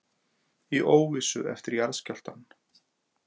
Í óvissu eftir jarðskjálftann